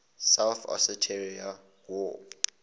south ossetia war